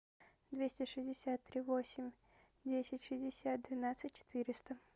двести шестьдесят три восемь десять шестьдесят двенадцать четыреста